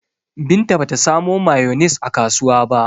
Binta ba ta samo mayonis a kasuwa ba.